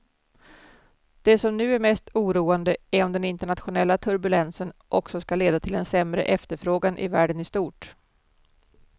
Det som nu är mest oroande är om den internationella turbulensen också ska leda till en sämre efterfrågan i världen i stort.